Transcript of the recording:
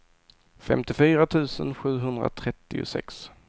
femtiofyra tusen sjuhundratrettiosex